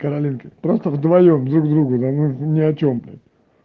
каролинке просто вдвоём друг другу да ни о чем